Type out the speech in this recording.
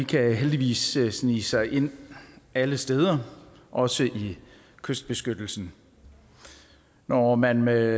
kan heldigvis snige sig ind alle steder også i kystbeskyttelse når man med